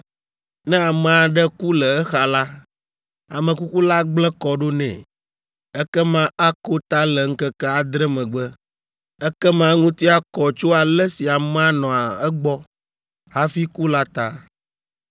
“ ‘Ne ame aɖe ku le exa la, ame kuku la gblẽ kɔ ɖo nɛ, ekema ako ta le ŋkeke adre megbe. Ekema eŋuti akɔ tso ale si amea nɔ egbɔ hafi ku la ta.